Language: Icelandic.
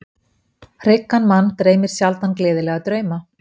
Hryggan mann dreymir sjaldan gleðilega drauma.